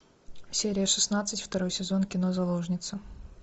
серия шестнадцать второй сезон кино заложницы